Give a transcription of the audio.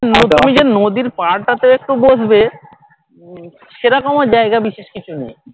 তুমি যে নদীর পার টা তে একটু বসবে সে রকম ও জায়গা বিশেষ কিছু নেই